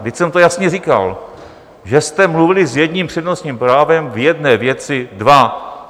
Vždyť jsem to jasně říkal, že jste mluvili s jedním přednostním právem v jedné věci dva.